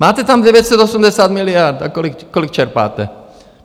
Máte tam 980 miliard, a kolik čerpáte?